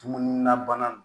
Dumuni na bana